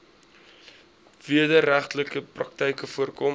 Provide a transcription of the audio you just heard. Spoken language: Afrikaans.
wederregtelike praktyke voorkom